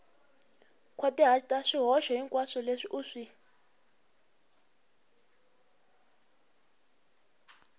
nkhwatihata swihoxo hinkwaswo leswi u